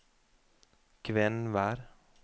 Kvenvær